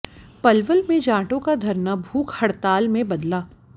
पलवल में जाटों का धरना भूख हड़ताल में बदला